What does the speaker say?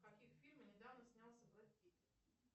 в каких фильмах недавно снялся брэд питт